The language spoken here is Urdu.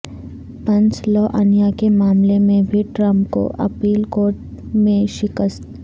پنسلوانیا کے معاملے میں بھی ٹرمپ کو اپیل کورٹ میںشکست